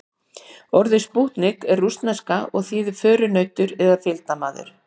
Orðið spútnik er rússneska og þýðir förunautur eða fylgdarmaður.